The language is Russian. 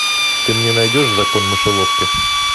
ты мне найдешь закон мышеловки